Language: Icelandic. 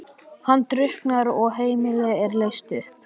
Hann drukknar og heimilið er leyst upp.